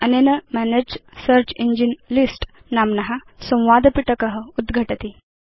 अनेन मनगे search engine list नाम्न संवादपिटक उद्घटति